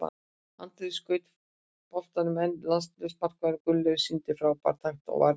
Andri skaut boltanum en landsliðsmarkmaðurinn Gunnleifur sýndi frábæra takta og varði vel.